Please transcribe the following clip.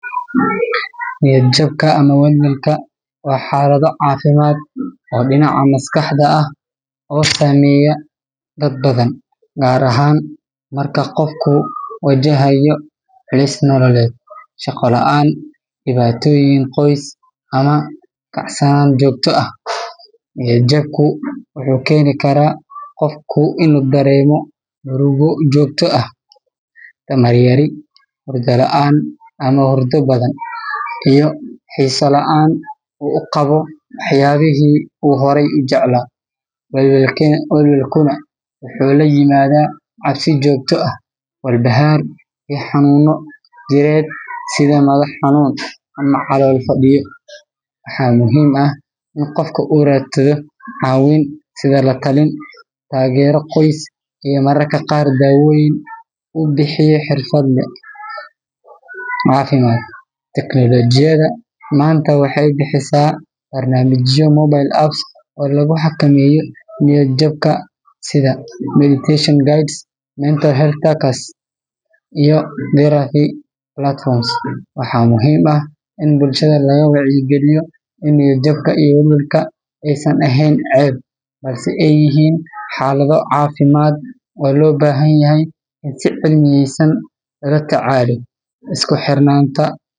Niyad jabka ama welwelka waa xaalado caafimaad oo dhinaca maskaxda ah oo saameeya dad badan, gaar ahaan marka qofku wajahayo culays nololeed, shaqo la'aan, dhibaatooyin qoys, ama kacsanaan joogto ah. Niyad jabku wuxuu keeni karaa qofku inuu dareemo murugo joogto ah, tamar yari, hurdo la'aan ama hurdo badan, iyo xiiso la'aan uu u qabo waxyaabihii uu horay u jeclaa. Welwelkuna wuxuu la yimaadaa cabsi joogto ah, walbahaar, iyo xanuunno jireed sida madax xanuun ama calool fadhiyo. Waxaa muhiim ah in qofka uu raadsado caawimaad sida la-talin, taageero qoys, iyo mararka qaar daawooyinka uu bixiyo xirfadle caafimaad. Teknoolajiyada maanta waxay bixisaa barnaamijyo mobile apps ah oo lagu xakameeyo niyad jabka sida meditation guides, mental health trackers, iyo therapy platforms. Waxaa muhiim ah in bulshada laga wacyigeliyo in niyad jabka iyo welwelka aysan ahayn ceeb, balse ay yihiin xaalado caafimaad oo loo baahan yahay in si cilmiyaysan loola tacaalo. Isku xirnaanta.